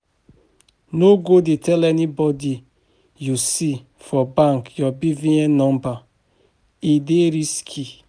No go dey tell anybody you see for bank your BVN number, e dey risky